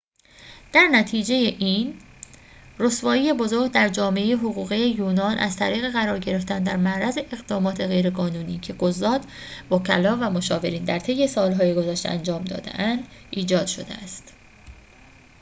در نتیجه این رسوایی بزرگ در جامعه حقوقی یونان از طریق قرار گرفتن در معرض اقدامات غیرقانونی که قضات وکلا و مشاورین در طی سالهای گذشته انجام داده اند ایجاد شده است